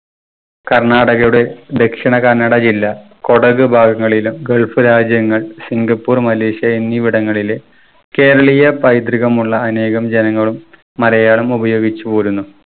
കർണാടകയുടെ ദക്ഷിണ കന്നട ജില്ലാ കൊടക് ഭാഗങ്ങളിലും gulf രാജ്യങ്ങൾ സിങ്കപ്പൂർ മലേഷ്യ എന്നിവിടങ്ങളിലെ കേരളീയ പൈതൃകമുള്ള അനേകം ജനങ്ങളും മലയാളം ഉപയോഗിച്ചു പോരുന്നു.